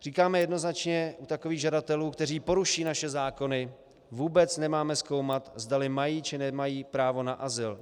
Říkáme jednoznačně, u takových žadatelů, kteří poruší naše zákony, vůbec nemáme zkoumat, zdali mají, či nemají právo na azyl.